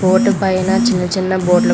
board పైనా చిన్న చిన్న బోర్డ్ --